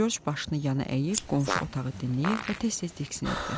Corc başını yana əyib qonşu otağı dinləyir və tez-tez diksinirdi.